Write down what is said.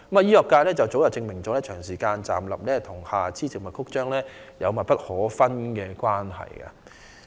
醫學界早已證明，長時間站立與下肢靜脈曲張有密不可分的關係。